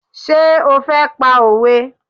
Ṣé o fẹ́ pa òwe?